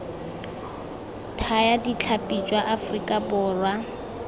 thaya ditlhapi jwa aforika borwa